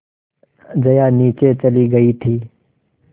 जया नीचे चली गई थी